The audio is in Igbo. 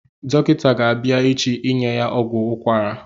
Dọkịta ga-abịa echi inye ya ọgwụ ukwara